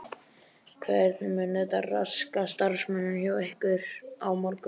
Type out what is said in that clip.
Hvernig mun þetta raska starfseminni hjá ykkur á morgun?